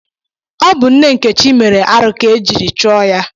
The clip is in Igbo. Ọ bụ nne nkechi mere arụ ka e jiri chụọ ya